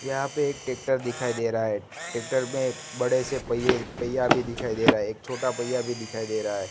यहां पे एक टेक्टर दिखाई दे रहा है टेक्टर में बड़े से पहिये पहिया भी दिखाई दे रहा है एक छोटा पहिया भी दिखाई दे रहा है।